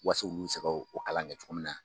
Waso olu bɛ se ka o kalan kɛ cogo min na.